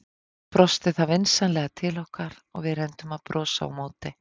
Svo brosti það vinsamlega til okkar og við reyndum að brosa á móti.